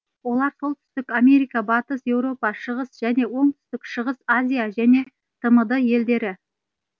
олар солтүстік америка батыс еуропа шығыс және оңтүстік шығыс азия және тмд елдері